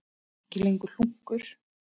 Ekki lengur hlunkur.